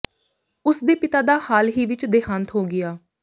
ਉਸ ਦੇ ਪਿਤਾ ਦਾ ਹਾਲ ਹੀ ਵਿੱਚ ਦੇਹਾਂਤ ਹੋ ਗਿਆ